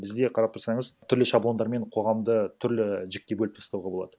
бізде қарап тұрсаңыз түрлі шаблондармен қоғамды түрлі жікке бөліп тастауға болады